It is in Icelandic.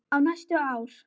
Í næstum ár.